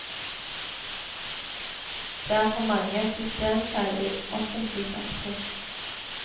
Det er for mange systemfeil i offentlig sektor.